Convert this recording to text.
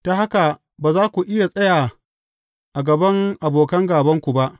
Ta haka ba za ku iya tsaya a gaban abokan gābanku ba.